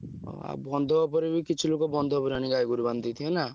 ହଁ ଆଉ ବନ୍ଧ ଉପରେ ବି କିଛି ଲୋକ ବନ୍ଧ ଉପରେ ଆଣି ଗାଈଗୋରୁ ବାନ୍ଧିଦେଇଥିବେ ନା?